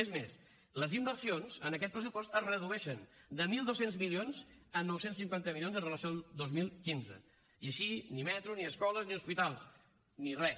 és més les inversions en aquest pressupost es redueixen de mil dos cents milions a nou cents i cinquanta milions amb relació al dos mil quinze i així ni metro ni escoles ni hospitals ni res